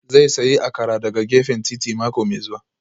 Zai sayi Akara daga gefen titi mako mai zuwa